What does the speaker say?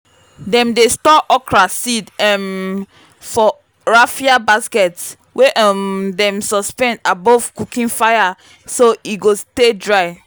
dem dey store okra seeds um for raffia baskets wey um dem suspend above cooking fire so e go stay dry.